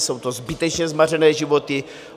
Jsou to zbytečně zmařené životy.